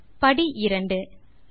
step 2